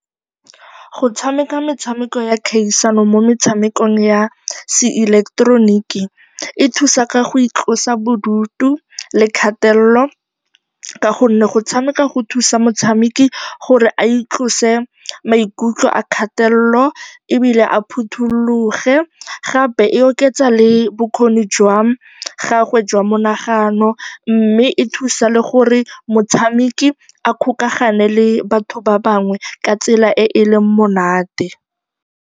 Go tshameka metshameko ya kgaisano mo metshamekong ya seileketeroniki go thusa ka go itlosa bodutu le kgatelelo ka gonne go tshameka go thusa motshameki gore a itlose maikutlo a kgatelelo ebile a phuthologe, gape e oketsa le bokgoni jwa gagwe jwa monagano mme e thusa le gore motshameki a kgokagane le batho ba bangwe ka tsela e e leng monate.